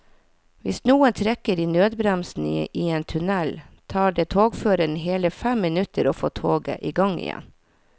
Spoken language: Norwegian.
Hvis noen trekker i nødbremsen i en tunnel, tar det togføreren hele fem minutter å få toget i gang igjen.